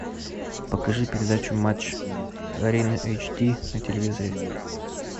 покажи передачу матч арена эйч ди на телевизоре